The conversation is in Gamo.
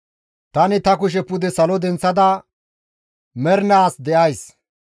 Tani ta kushe pude salo denththada, ‹Ta mernaas de7ays.